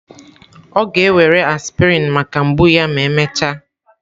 Ọ ga-ewere aspirin maka mgbu ya ma emechaa.